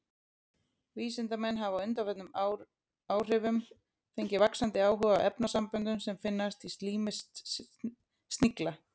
Vísindamenn hafa á undanförnum áhrifum fengið vaxandi áhuga á efnasamböndum sem finnast í slími snigla.